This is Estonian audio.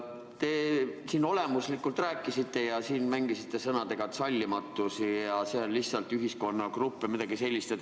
Te siin olemuslikult rääkisite ja mängisite selliste sõnadega nagu "sallimatus" ja "ühiskonnagrupid" või midagi sellist.